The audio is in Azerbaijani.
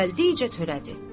Gəldikcə törədi.